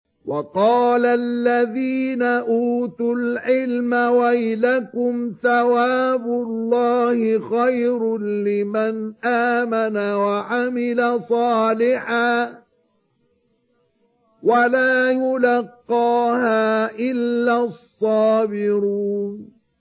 وَقَالَ الَّذِينَ أُوتُوا الْعِلْمَ وَيْلَكُمْ ثَوَابُ اللَّهِ خَيْرٌ لِّمَنْ آمَنَ وَعَمِلَ صَالِحًا وَلَا يُلَقَّاهَا إِلَّا الصَّابِرُونَ